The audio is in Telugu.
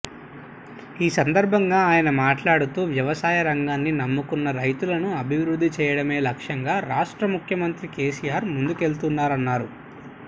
ఈ సందర్భంగా ఆయన మాట్లాడుతూ వ్యవసాయ రంగాన్ని నమ్ముకున్న రైతులను అభివృద్ది చేయడమే లక్ష్యంగా రాష్ట్ర ముఖ్యమంత్రి కెసిఆర్ ముందుకెళుతున్నారన్నారు